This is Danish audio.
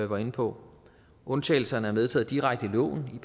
var inde på undtagelserne er medtaget direkte i loven i